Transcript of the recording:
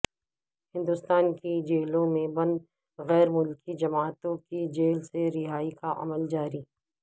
ہندوستان کی جیلوں میں بند غیر ملکی جماعتیوں کی جیل سے رہائی کا عمل جاری